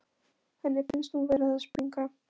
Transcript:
Henni finnst hún vera að springa.